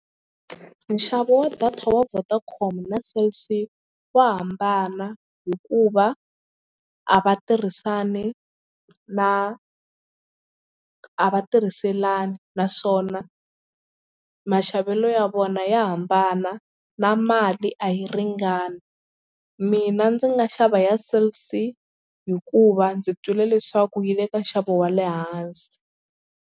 Nxavo wa data ya Vodacom na Cell C wu hambana hikuva a va tirhisani na a va tirhiselani naswona maxavelo ya vona ya hambana na mali a yi ringani. Mina ndzi nga xava ya Cell C hikuva ndzi twile leswaku yi le ka nxavo wa le hansi.